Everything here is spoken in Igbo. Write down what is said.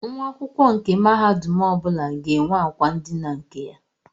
Nwa akwụkwọ mahadum ọbụla ga-enwe akwa ndina nke ya.